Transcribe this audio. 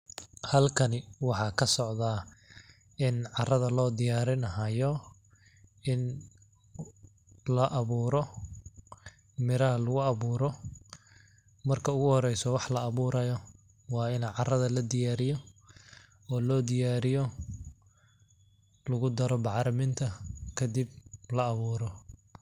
Halkani waxaa ka socdaa in carrada loo diyaarini haayo in la abuuro ,miraha lagu abuuro ,marka ugu horeyso wax la abuurayo waa ini carrada la diyaariyo oo loo diyaariyo lagu daro bacriminta kadib la awuuro.